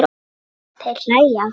Þeir hlæja að honum.